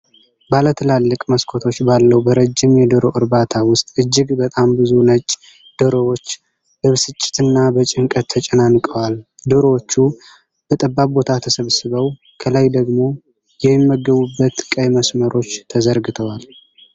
ባለ ትላልቅ መስኮቶች ባለው በረጅም የዶሮ እርባታ ውስጥ፣ እጅግ በጣም ብዙ ነጭ ዶሮዎች በብስጭትና በጭንቀት ተጨናንቀዋል። ዶሮዎቹ በጠባብ ቦታ ተሰብስበው፣ ከላይ ደግሞ የሚመገቡበት ቀይ መስመሮች ተዘርግተዋል።